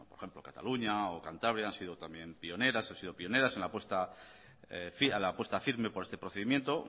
por ejemplo cataluña o cantabria han sido también pioneras han sido pioneras a la apuesta firme por este procedimiento